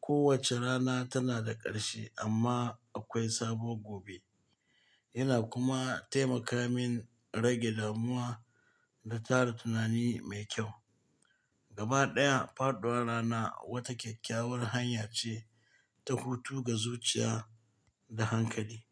kowace rana tana da ƙarshe amma akwai sabuwa gobe. Yana kuma taimaka min rage damuwa da tara tunani mai kyau. Gabaɗaya, faɗuwar rana wata kyakkyawar hanya ce ta hutu ga zuciya da hankali.